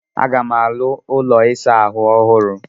Aga m arụ ụlọ ịsa ahụ ọhụrụ